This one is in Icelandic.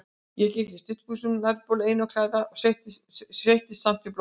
Ég gekk í stuttbuxum og nærbol einum klæða, en sveittist samt blóðinu.